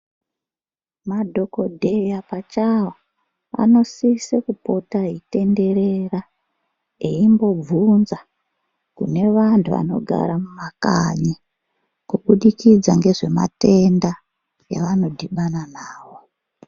Madhokodheya pachawo anosise kupota achitenderera eimbobvunza kune vantu vanogara mumakanyi kuburikidza ngezvematenda avanodhibana nawo.